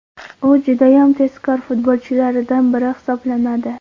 U judayam tezkor futbolchilaridan biri hisoblanadi.